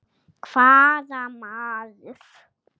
Hvaða maður?